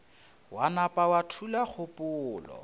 wa nama wa thula kgopolo